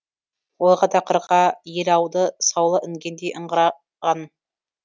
ойға да қырға ел ауды саулы інгендей ыңыра ған